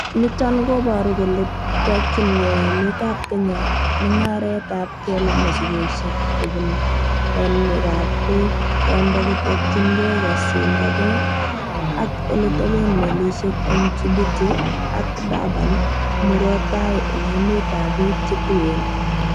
Niton koboru kole tokyin gee emetab Kenya mung'aretab kela mosigisiek kobun bonwegab beek, Kondo kotokyingei kosindange ak eleteben melisiek en Djibouti ak Durban murot tai en emetab bik che tuen.